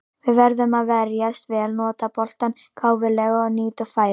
Við verðum að verjast vel, nota boltann gáfulega og nýta færin.